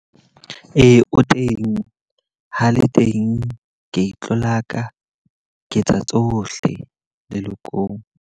Ee, o teng. Ha le teng, ka itlolaka, ke etsa tsohle lelokong.